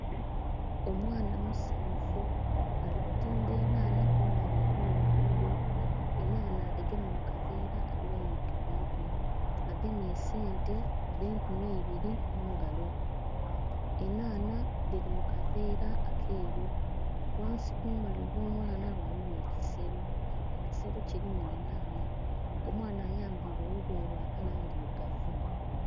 Omwana musanhufu, ali kutimba enhanha kumbali ew'oluguudo. Enhanha adhigemye mu kaveera adhighaniike ku mutwe. Agemye esente dh'enkumi eibiri mu ngalo. Enhanha dhili mu kaveera akeeru. Ghansi kumbali ew'omwana ghaligho ekiselo. Ekiselo kilimu enhanha. Omwana ayambaile olugoye lwa kala ndhilugavu.